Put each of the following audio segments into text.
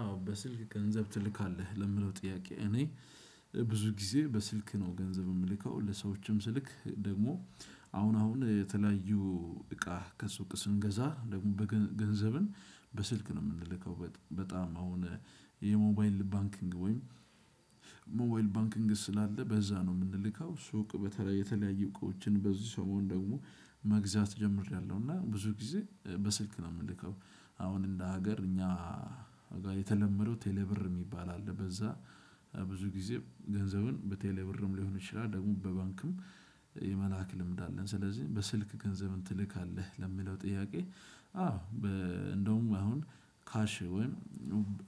አዎ በስልክ ገንዘብ ትልካለህ ለሚለው ጥያቄ እኔ ብዙ ጊዜ በስልክ ነው ገንዘብ እምልከው ለሰዎችም ስልክ ደግሞ። አሁን አሁን የተለያዩ እቃ ከሱቅ ስንገዛ ደግሞ ገንዘብን በስልክ ነው እምንልከው በጣም አሁን የሞባይል ባንኪንግ ወይም ሞባይል ባንኪንግ ስላለ በዛ ነው እምንልከው ሱቅ በተለይ የተለያየ እቃዎችን በዚህ ሰሞን ደግሞ መግዛት ጀምሬያለሁ። እና ብዙ ጊዜ በስልክ ነው እምልከው። አሁን እንደ ሀገር እኛ የተለመደው ቴሌ ብር እሚባል አለ። በዛ ብዙ ጊዜ ገንዘብን በቴሌ ብርም ሊሆን ይችላል ደግሞ በባንክም የመላክ ልምድ አለን። ስለዚህ በስልክ ገንዘብን ትልካለህ ለሚለው ጥያቄ? አዎ። እንደውም አሁን ካሽ ወይም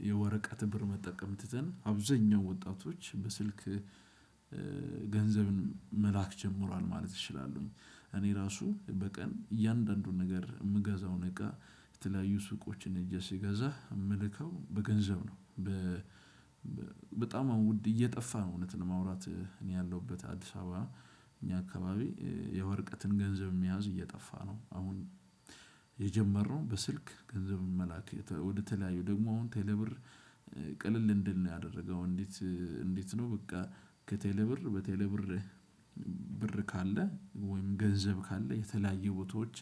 የወረቀት ብር መጠቀም ትተን አብዛኛው ወጣቶች በስልክ ገንዘብን መላክ ጀምሯል ማለት እችላለሁኝ። እኔ ራሱ በቀን እያንዳንዱን ነገር እምገዛው እቃ የተለያዩ ሱቆችን ሄጀ ስገዛ እምልከው በገንዘብ ነው። በጣም አሁን እየጠፋ ነው እውነት ለማውራት እኔ ያለሁበት አዲስ አበባ። እኛ አካባቢ የወረቀትን ገንዘብ መያዝ እየጠፋ ነው። አሁን የጀመርነው በስልክ ገንዘብን መላክ ወደተለያዩ ደግሞ አሁን ቴሌብር ቅልል እንዲል ነው ያደረገው። እንዴት እንዴት ነው? በቃ ከቴሌ ብር በቴሌ ብር ብር ካለ ወይም ገንዘብ ካለ የተለያየ ቦታዎች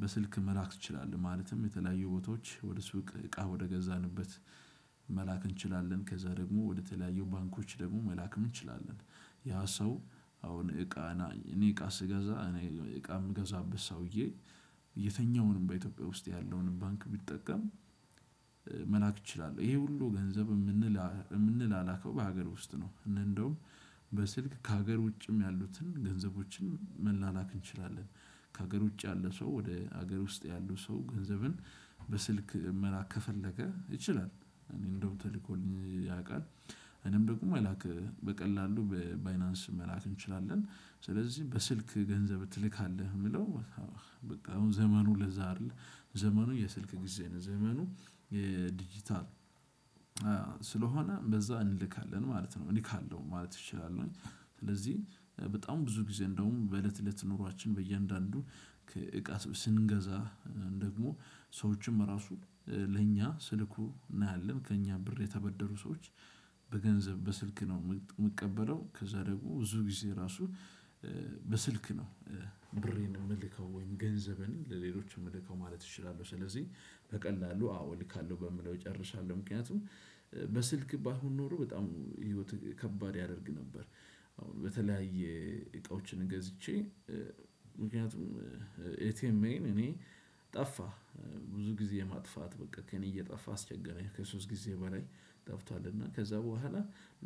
በስልክ መላክ ትችላለህ። ማለትም የተለያየ ቦታዎች ወደ ስውቅ እቃ ወደገዛንበት መላክ እንችላለን። ከዛ ደግሞ ወደተለያዩ ባንኮች ደግሞ መላክም እንችላለን። ያ ሰው አሁን እቃ እኔ እቃ ስገዛ እቃ የምገዛበት ሰውዬ የተኛውንም በኢትዮጵያ ውስጥ ያለውንም ባንክ ቢጠቀም መላክ እችላለሁ። ይሄ ሁሉ ገንዘብ እምንል እምንላላከው በሀገር ውስጥ ነው። እንደውም በስልክ ከሀገር ውጭም ያሉትን ገንዘቦችን መላላክ እንችላለን። ከሀገር ውጭ ያለ ሰው ወደ ሀገር ውስጥ ያሉ ሰው ገንዘብን በስልክ መላክ ከፈለገ ይችላል። እኔ እንደውም ተልኮልኝ ያውቃል። እኔም ደግሞ መላክ በቀላሉ በባይናንስ መላክ እንችላለን። ስለዚህ በስልክ ገንዘብ ትልካለህ የሚለው? በቃ አሁን ዘመኑ ለዛ አይደለ። ዘመኑ የስልክ ጊዜ ነው። ዘመኑ የዲጂታል ስለሆነ በዛ እንልካለን ማለት ነው እልካለሁ ማለት እችላለሁኝ። ስለዚህ በጣም ብዙ ጊዜ እንደውም በእለት እለት ኑሯችን በእያንዳንዱ ከ እቃ ስንገዛ ደግሞ ሰዎችም ራሱ ለእኛ ስልኩ እናያለን ከእኛ ብር የተበደሩ ሰዎች በገንዘብ በስልክ ነው የምቀበለው። ከዛ ደግሞ ብዙ ጊዜ ራሱ በስልክ ነው። ብሬን የምልከው ወይን ገንዘብን ለሌሎች የምልከው ማለት እችላለሁ። ስለዚህ በቀላሉ አዎ እልካለሁ በምለው እጨርሳለሁ። ምክንያቱም በስልክ ባይሆን ኖሮ በጣም ህይወት ከባድ ያደርግ ነበር። አዎ በተለያየ እቃዎችን ገዝቼ ምክንያቱም ኤቲኤምኤን እኔ ጠፋ ብዙ ጊዜ ማጥፋት በቃ ከእኔ እየጠፋ አስቸገረኝ ከሶስት ጊዜ በላይ ጠፍቷልና ከዛ በኋላ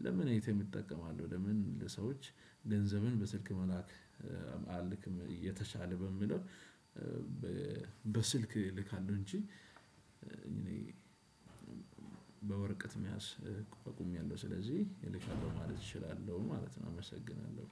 ለምን ኤቲኤም እጠቀማለሁ? ለምን ለሰዎች ገንዘብን በስልክ መላክ። አልክም የተሻለ በምለው። በስልክ እልካለሁ እንጂ እኔ በወረቀት መያዝ አቁሚያለሁ ስለዚህ አልካለሁ ማለት እችላለሁ ማለት ነው። አመሰግናለሁ።